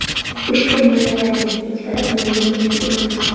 Ushbu moddalarning hech biri menga tegishli emas.